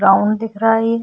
round दिख रहा है ये --